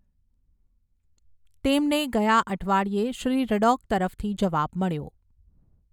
તેમને ગયા અઠવાડિયે શ્રી રડૉક તરફથી જવાબ મળ્યો.